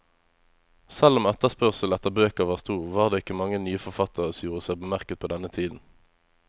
Selv om etterspørselen etter bøker var stor, var det ikke mange nye forfattere som gjorde seg bemerket på denne tiden.